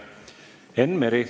Enn Meri.